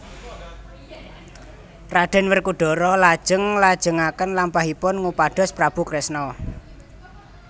Raden Werkudara lajeng nglajengaken lampahipun ngupados Prabu Kresna